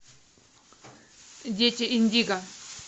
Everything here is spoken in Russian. дети индиго